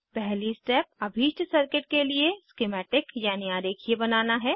पहली स्टेप अभीष्ट सर्किट के लिए स्किमैटिक यानी आरेखीय बनाना है